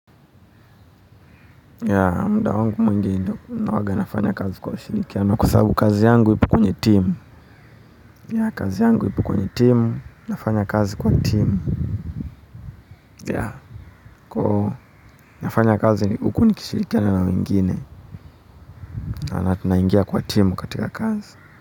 Yaa muda wangu mwingi huwaga nafanya kazi kwa ushirikiano kwa sababu kazi yangu ipo kwenye timu, yaa kazi yangu ipo kwenye timu, nafanya kazi kwa timu. Yaa kwa ivo nafanya kazi uku ni kishirikia na wengine na tunaingia kwa timu katika kazi.